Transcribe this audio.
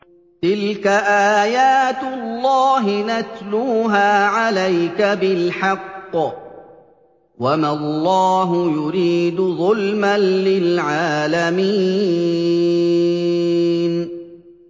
تِلْكَ آيَاتُ اللَّهِ نَتْلُوهَا عَلَيْكَ بِالْحَقِّ ۗ وَمَا اللَّهُ يُرِيدُ ظُلْمًا لِّلْعَالَمِينَ